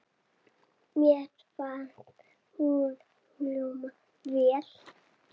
Mér fannst hún hljóma vel.